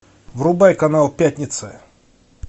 врубай канал пятница